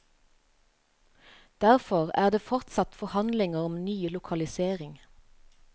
Derfor er det fortsatt forhandlinger om ny lokalisering.